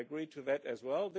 I agree with that as well.